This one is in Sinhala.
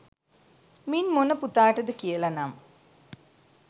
මින් මොන පුතාටද කියල නම්